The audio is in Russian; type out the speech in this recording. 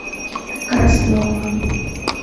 краснова